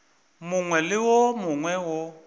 mongwe le wo mongwe wo